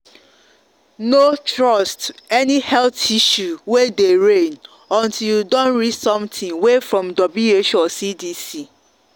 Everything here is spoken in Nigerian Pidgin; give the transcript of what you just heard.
no trust any health issue way dey reign o untill you don read something way from who or cdc.